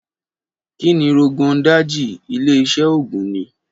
Kí ni Rogon Daji, ilé-iṣẹ́ oògùn, ní?